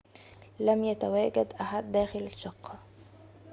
لم يتواجد أحد داخل الشقة